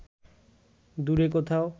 দূরে কোথাও